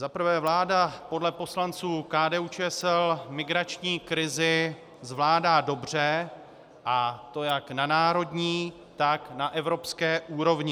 Za prvé, vláda podle poslanců KDU-ČSL migrační krizi zvládá dobře, a to jak na národní, tak na evropské úrovni.